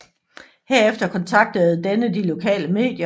Herefter kontaktede denne de lokale medier